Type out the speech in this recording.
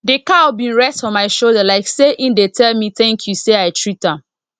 di cow bin rest for my shoulder like say e dey tell me thank you say i treat am